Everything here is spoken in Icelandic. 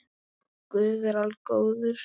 Guð er algóður